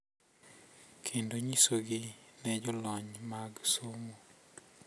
Kendo nyisogi ne jolony mag somo,